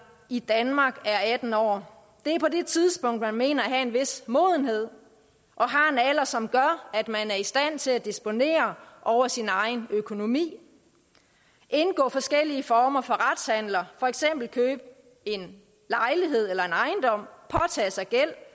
i danmark er atten år det er på det tidspunkt man mener at have en vis modenhed og har en alder som gør at man er i stand til at disponere over sin egen økonomi indgå forskellige former for retshandler for eksempel købe en lejlighed eller en ejendom påtage sig gæld